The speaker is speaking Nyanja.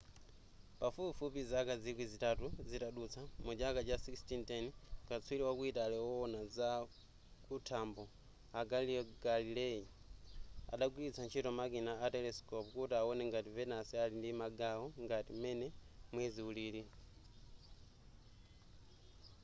pafupifupi zaka zikwi zitatu zitadutsa muchaka cha 1610 katswiri waku italy wowona zakuthambo a galileo galilei adagwiritsa ntchito makina a telescope kuti awone ngati venus ali ndi magawo ngati m'mene mwezi ulili